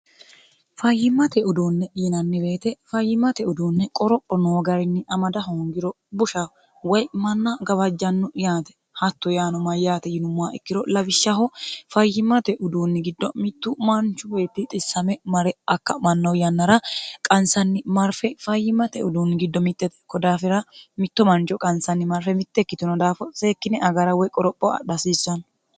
fayyimmate uduunne dhiinanni beete fayyimate uduunne qoropho noo garinni amada hoongiro bushaho woy manna gabajjanno yaate hatto yaano mayyaate yinummowa ikkiro lawishshaho fayyimmate uduunni giddo mittu maanchu beetti xissame mare akka'manno yannara qansanni marfe fayyimate uduunni giddo mitxete ko daafira mitto manco qansanni marfe mitte ikkitino daafo seekkine agara woy qoropho adhi hasiissanno